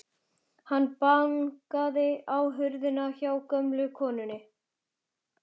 Hann bankaði á hurðina hjá gömlu konunni.